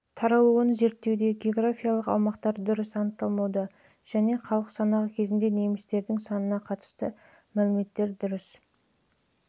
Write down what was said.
таралуын зерттеуде географиялық аумақтар дұрыс анықталмауда және халық санағы кезіндегі немістердің санына қатысты мәліметтер дұрыс